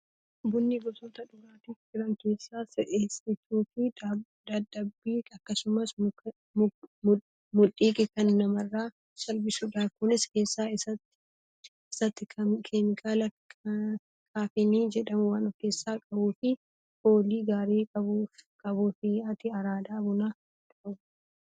Bunni gosoota dhugaatii jiran keessaa si'eessituu fi dadhabbii akkasumas mudhukkii kan namarraa salphisudha. Kunis keessa isaatti keemikaala kaafeenii jedhamu waan of keessaa qabuu fi foolii gaarii qabuufi. Ati araada bunaa qabdaa?